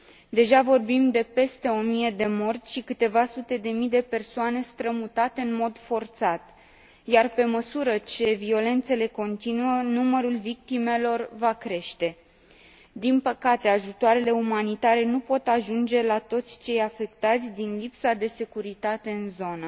Deja vorbim de peste o mie de morți și câteva sute de mii de persoane strămutate în mod forțat, iar, pe măsură ce violențele continuă, numărul victimelor va crește. Din păcate, ajutoarele umanitare nu pot ajunge la toți cei afectați, din lipsa de securitate în zonă.